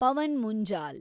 Pavan Munjal